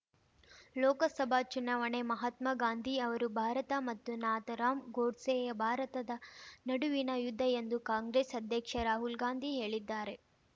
ಲೋಕಸಭಾ ಚುನಾವಣೆ ಮಹಾತ್ಮಗಾಂಧಿ ಅವರು ಭಾರತ ಮತ್ತು ನಾಥರಾಮ್ ಗೂಡ್ಸೆಯ ಭಾರತದ ನಡುವಿನ ಯುದ್ಧ ಎಂದು ಕಾಂಗ್ರೆಸ್ ಅಧ್ಯಕ್ಷ ರಾಹುಲ್‌ಗಾಂಧಿ ಹೇಳಿದ್ದಾರೆ